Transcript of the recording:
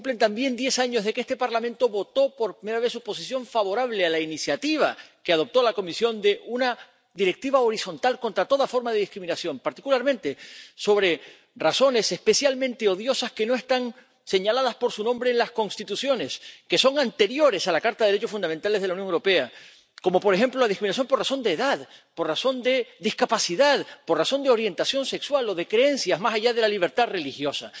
Se cumplen también diez años desde que este Parlamento votó por primera vez su posición favorable a la iniciativa que adoptó la Comisión de una Directiva horizontal contra toda forma de discriminación, particularmente por razones especialmente odiosas que no están señaladas por su nombre en las constituciones, que son anteriores a la Carta de los Derechos Fundamentales de la Unión Europea, como, por ejemplo, la discriminación por razón de edad, por razón de discapacidad, por razón de orientación sexual o de creencias —más allá de la libertad religiosa—.